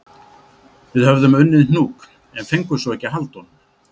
Við höfðum unnið hnúk en fengum svo ekki að halda honum